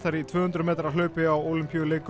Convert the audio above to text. í tvö hundruð metra hlaupi á Ólympíuleikum